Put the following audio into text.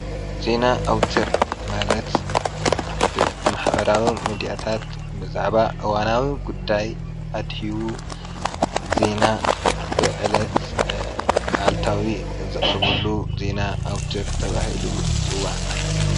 ዜና ኣውታር ማለት ብማሕበራዊ ሚድያታት ብዛዕባ እዋናዊ ጉዳይ ኣድሂቡ ዜና ብዕለት ኣሉታዊ ዝቅርብሉ ዜና ኣውትር ተባሂሉ ይጽዋዕ።